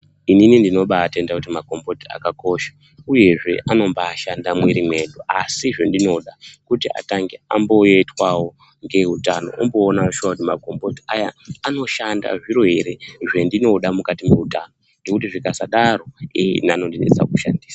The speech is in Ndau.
inini ndinobatenda kuti makomboti akakosha, uyezve anobashanda mumwiri mwedu. Asi zvendinoda kuti atange amboyetwavo ngeeutano omboonavo shuwa kuti makomboti aya anoshanda zviro ere zvendinoda mukati mweutano. Ngekuti zvikasadaro ee ini anondinesa kushandisa.